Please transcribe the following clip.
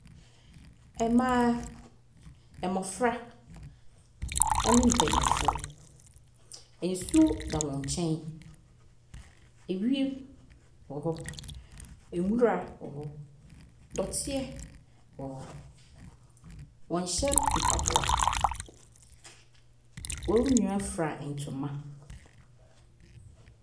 Mmaa, mmɔfra ne mpanimfoɔ. Nsuo da wɔn nkyɛn. Ewiem wɔ hɔ. Nwura wɔ hɔ. Dɔteɛ wɔ hɔ. Wɔnhyɛ mpaboa. Wɔn nyinaa fira ntoma.